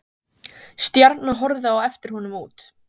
Stjarna horfði á eftir honum út.